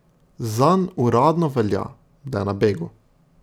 Zanj uradno velja, da je na begu.